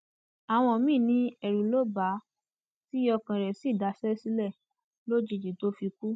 àwọn míín ní ẹrù ló bà á tí ọkàn rẹ sì daṣẹ sílẹ lójijì tó fi kú